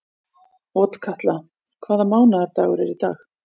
Otkatla, hvaða mánaðardagur er í dag?